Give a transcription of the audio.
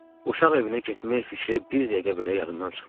Uşaq evinə getmək fikri bir dəqiqə belə yadımdan çıxmırdı.